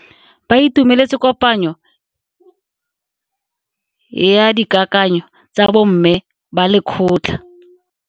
Ba itumeletse kopanyo ya dikakanyo tsa bo mme ba lekgotla.